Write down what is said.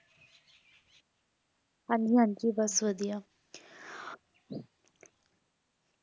ਹਾਂਜੀ ਹਾਂਜੀ ਬਸ ਵਧੀਆ